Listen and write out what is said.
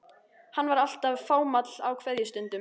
Hann var alltaf fámáll á kveðjustundum.